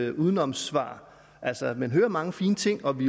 et udenomssvar altså man hører mange fine ting og vi